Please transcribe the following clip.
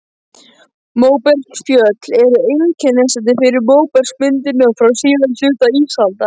Móbergsfjöll eru einkennandi fyrir móbergsmyndunina frá síðari hluta ísaldar.